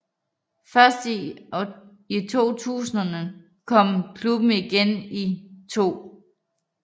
Først i 2000 kom klubben igen i 2